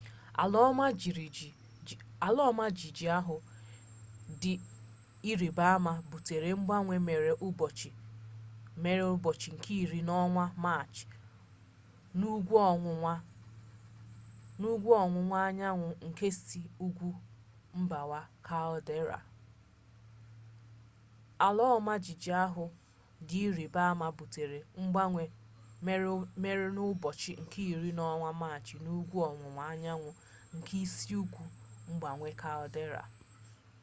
ala ọma jijiji ahụ dị ịrịba ama butere mgbanwe mere n'ụbọchị nke iri n'ọnwa maachị n'ugwu ọwụwa anyanwụ nke isi ugwu mgbawa kaldera